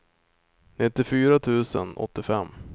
nittiofyra tusen åttiofem